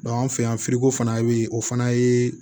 anw fɛ yan fana bɛ yen o fana ye